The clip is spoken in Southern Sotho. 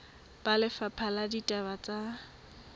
ba lefapha la ditaba tsa